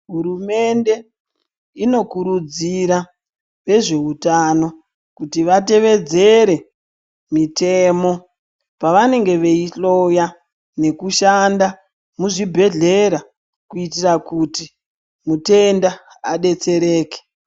Hurumende inokurudzira vezveutano kuti vatevedzere mitemo pavanenge veihloya nekushanda muzvibhedhlera kuitira kuti mutenda adetsereke.